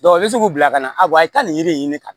i bɛ se k'u bila ka na a bɛ taa nin yiri de ɲini ka